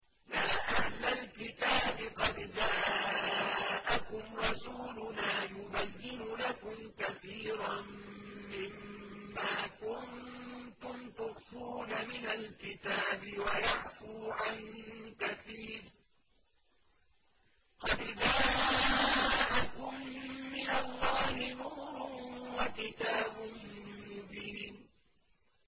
يَا أَهْلَ الْكِتَابِ قَدْ جَاءَكُمْ رَسُولُنَا يُبَيِّنُ لَكُمْ كَثِيرًا مِّمَّا كُنتُمْ تُخْفُونَ مِنَ الْكِتَابِ وَيَعْفُو عَن كَثِيرٍ ۚ قَدْ جَاءَكُم مِّنَ اللَّهِ نُورٌ وَكِتَابٌ مُّبِينٌ